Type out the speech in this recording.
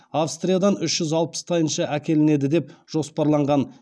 австриядан үш жүз алпыс тайынша әкелінеді деп жоспарланған